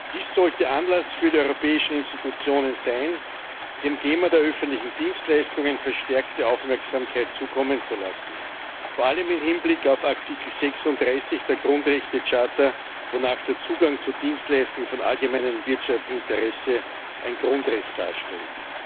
Dies sollte Anlass für die europäischen Institutionen sein, dem Thema der öffentlichen Dienstleistungen verstärkte Aufmerksamkeit zukommen zu lassen, vor allem im Hinblick auf Artikel36 der Grundrechtecharta, wonach der Zugang zu Dienstleistungen von allgemeinem Wirtschaftsinteresse ein Grundrecht darstellt.